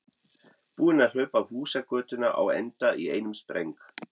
Búinn að hlaupa húsagötuna á enda í einum spreng.